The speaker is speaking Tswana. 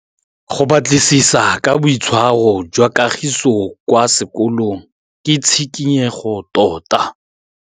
Go batlisisa ka boitshwaro jwa Kagiso kwa sekolong ke tshikinyêgô tota.